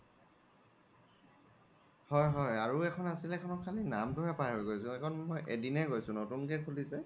হয় হয় আৰু এখন আছিল সেইখনৰ খালি নাম্তো হে পাহৰি গৈছো খেই খন এদিনে গৈছো নতুন কে খুলিচে